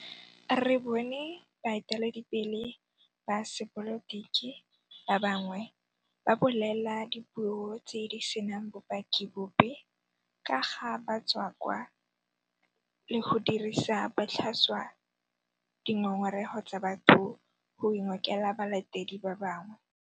Re bone baeteledipele ba sepolotiki ba bangwe ba bolela dipuo tse di senang bopaki bope ka ga batswakwa le go dirisa botlhaswa dingongorego tsa batho go ingokela balatedi ba bangwe.